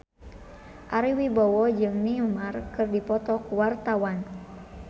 Ari Wibowo jeung Neymar keur dipoto ku wartawan